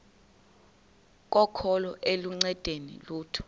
kokholo aluncedi lutho